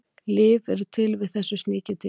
lyf eru til við þessu sníkjudýri